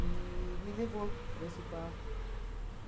E me levou para esse quarto.